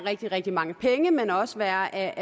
rigtig rigtig mange penge men også være af